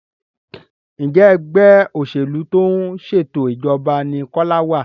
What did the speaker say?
Njé Ẹgbẹ́ òṣèlú tó ń ṣètò ìjọba ní Kola wá?